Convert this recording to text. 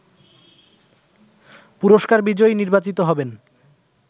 পুরস্কার বিজয়ী নির্বাচিত হবেন